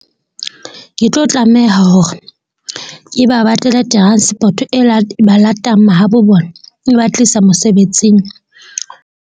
Ke tlo tlameha hore ke ba batlele transport-o e ba latang mahabo bona, e ba tlisa mosebetsing.